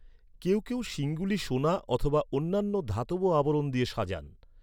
কেউ কেউ শিংগুলি সোনা অথবা অন্যান্য ধাতব আবরণ দিয়ে সাজান।